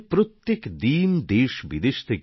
এখানে প্রত্যেক দিন দেশ বিদেশ থেকে প্রচুর পর্যটক আসেন